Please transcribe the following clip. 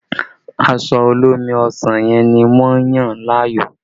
Aṣọ olómi ọsàn yẹn ni wọ́n yàn láàyò